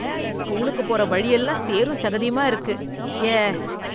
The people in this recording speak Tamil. ஸ்கூலுக்கு போற வழி எல்லாம் சேரும் சகதியுமா இருக்கு, ஐயே.